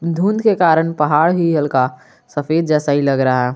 धुँध के कारण पहाड़ ही हल्का सफेद जैसा ही लग रहा है।